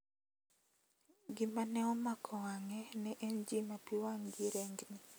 Gino ma ne omako wang`e ne en ji ma pi wang`gi rengni.